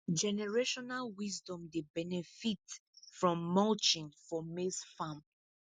generational wisdom dey benefit from mulching for maize farm